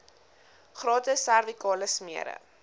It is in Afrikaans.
gratis servikale smere